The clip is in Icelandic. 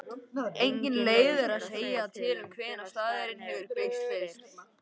Engin leið er að segja til um hvenær staðurinn hefur byggst fyrst.